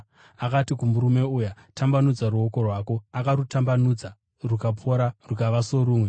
Akati kumurume uya, “Tambanudza ruoko rwako.” Akarutambanudza rukapora rukava sorumwe.